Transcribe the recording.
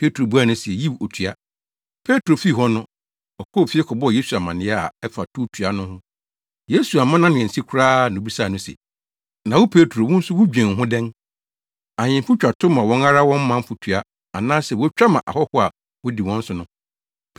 Petro buaa no se, “Yiw otua.” Petro fii hɔ no, ɔkɔɔ fie kɔbɔɔ Yesu amanneɛ a ɛfa towtua no ho. Yesu amma nʼano ansi koraa na obisaa no se, “Na wo Petro, wo nso wudwen ho dɛn? Ahemfo twa tow ma wɔn ara wɔn manfo tua anaasɛ wotwa ma ahɔho a wodi wɔn so no?”